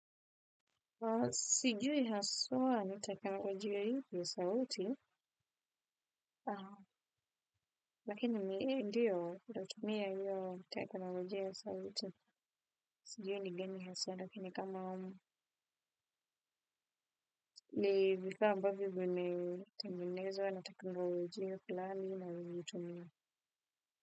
Sijui haswa watakalo juu ya hii sauti. Lakini mimi ndiyo nitatumia hiyo teknolojia ya sauti. Sijui ni gani haswa lakini kama ni vifaa ambavyo vimetengenezwa na tekanolojia fulani ninayoitumia.